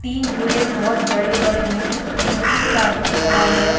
तीन झूले बहुत बड़े -बड़े है नीचे एक आदमी खड़ा हैं ।